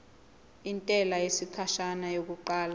intela yesikhashana yokuqala